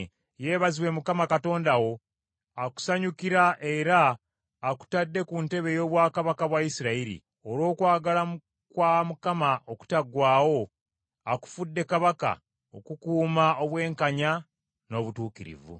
Yeebazibwe Mukama Katonda wo akusanyukira era akutadde ku ntebe ey’obwakabaka bwa Isirayiri. Olw’okwagala kwa Mukama okutaggwaawo, akufudde kabaka, okukuuma obwenkanya n’obutuukirivu.”